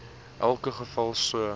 elke geval so